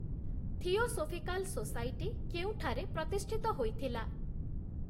Theosophical society କେଉଁଠାରେ ପ୍ରତିଷ୍ଠିତ ହୋଇଥିଲା?